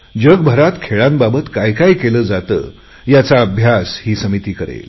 जगभरात खेळांबाबत काय काय केले जाते याचा अभ्यास समिती करेल